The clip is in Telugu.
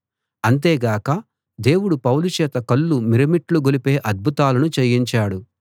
అంతేగాక దేవుడు పౌలు చేత కళ్ళు మిరుమిట్లు గొలిపే అద్భుతాలను చేయించాడు